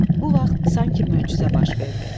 Bu vaxt sanki möcüzə baş verdi.